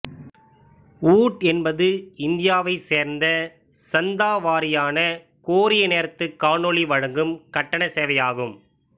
ஊட் என்பது இந்தியாவைச் சேர்ந்த சந்தா வாரியான கோரிய நேரத்து காணொலி வழங்கும் கட்டணச் சேவை ஆகும்